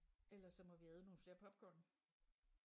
Ellers så må vi æde nogle flere popcorn